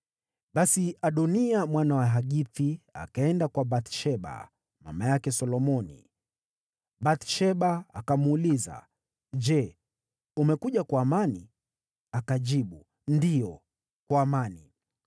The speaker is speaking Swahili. Basi Adoniya, mwana wa Hagithi, akaenda kwa Bathsheba, mama yake Solomoni. Bathsheba akamuuliza, “Je, umekuja kwa amani?” Akajibu, “Ndiyo, kwa amani.”